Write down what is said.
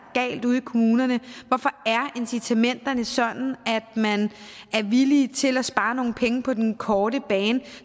galt ude i kommunerne hvorfor er incitamenterne sådan at man er villig til at spare nogle penge på den korte bane